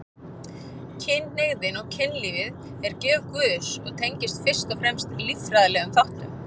Kynhneigðin og kynlífið er gjöf Guðs og tengist fyrst og fremst líffræðilegum þáttum.